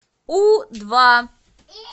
у два